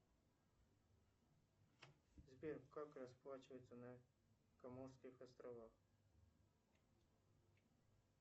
сбер как расплачиваться на каморских островах